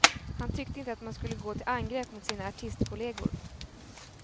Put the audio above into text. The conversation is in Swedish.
Han tyckte inte att man skulle gå till angrepp mot sina artistkollegor.